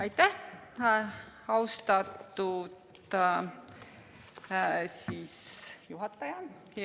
Aitäh, austatud juhataja!